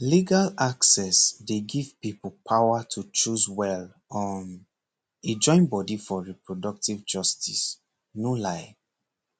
legal access dey give people power to choose well um e join body for reproductive justice no lie